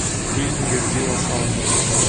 фильм верзила салмон